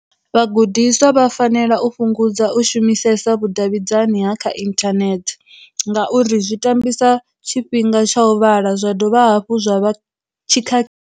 Vha gudiswa vha fanela u fhungudza u shumisesa vhu davhidzani ha kha inthanethe, ngauri zwi tambisa tshifhinga tsha u vhala zwa dovha hafhu zwa vha tshikha.